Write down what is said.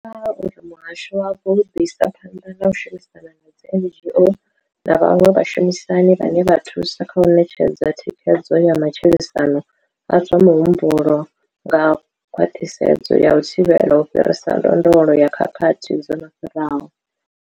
Vho amba uri muhasho wavho u ḓo isa phanḓa na u shumisana na dzi NGO na vhaṅwe vhashumisani vhane vha thusa kha u ṋetshedza thikhedzo ya matshilisano a zwa muhumbulo nga khwaṱhisedzo ya u thivhela u fhirisa ndondolo ya khakhathi dzo no fhiraho.